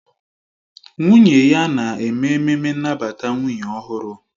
Nwunye ya na-eme ememme nnabata nwunye ọhụrụ